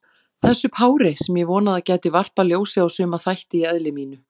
Þessu pári, sem ég vonaði að gæti varpað ljósi á suma þætti í eðli mínu.